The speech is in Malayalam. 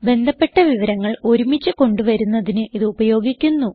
ബന്ധപ്പെട്ട വിവരങ്ങൾ ഒരുമിച്ച് കൊണ്ട് വരുന്നതിന് ഇത് ഉപയോഗിക്കുന്നു